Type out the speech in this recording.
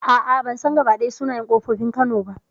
A'a ban san gabaɗaya sunayen ƙofofin kano ba